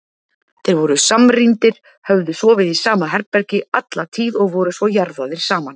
Þeir voru samrýndir, höfðu sofið í sama herbergi alla tíð og voru svo jarðaðir saman.